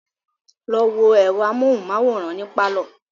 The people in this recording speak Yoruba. Lọ wo ẹ̀rọ amóhunmáwòrán ní pálọ̀